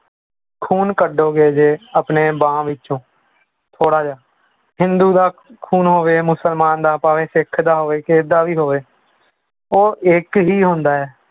ਖੂਨ ਕੱਢੋਗੇ ਜੇ ਆਪਣੇ ਬਾਂਹ ਵਿੱਚੋਂ ਥੋੜ੍ਹਾ ਜਿਹਾ, ਹਿੰਦੂ ਦਾ ਖੂਨ ਹੋਵੇ, ਮੁਸਲਮਾਨ ਦਾ ਭਾਵੇਂ ਸਿੱਖ ਦਾ ਹੋਵੇ, ਕਿਸੇ ਦਾ ਵੀ ਹੋਵੇ, ਉਹ ਇੱਕ ਹੀ ਹੁੰਦਾ ਹੈ।